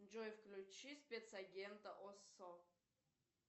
джой включи спецагента оссо